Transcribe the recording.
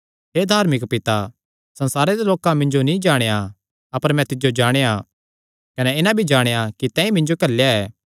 हे धार्मिक पिता संसारे दे लोकां मिन्जो नीं जाणेया अपर मैं तिज्जो जाणेया कने इन्हां भी जाणेया कि तैंईं मिन्जो घल्लेया ऐ